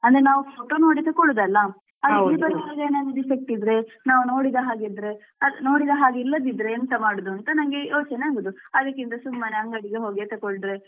ಅಂದ್ರೆ ನಾವು photo ನೋಡಿ ತಕೊಳುದಲ್ಲ. defect ಇದ್ರೆ ನಾವ್ ನೋಡಿದ ಹಾಗೆ ಇದ್ರೆ ನೋಡಿದ ಹಾಗೆ ಇಲ್ಲದಿದ್ರೆ ಎಂತ ಮಾಡುದು ಅಂತ ನಂಗೆ ಯೋಚನೆ ಆಗುದು ಅದಕ್ಕಿಂತ ಸುಮ್ಮನೆ ಅಂಗಡಿಗೆ ಹೋಗಿ ತೆಕ್ಕೊಂಡ್ರೆ.